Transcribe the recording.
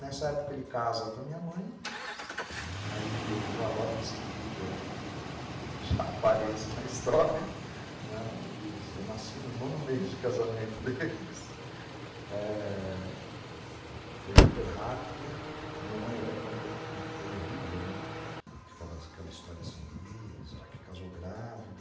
Nessa época ele casa com a minha mãe, aí eu já logo em seguida já apareço na história, eu nasci no nono mês de casamento deles, foi hiper rápido, a minha mãe até conta que foi horrível, que ficava aquela história assim, será que casou grávida?